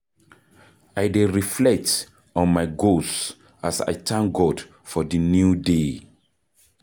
I dey reflect on my goals as I thank God for di new day.